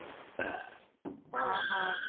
overlap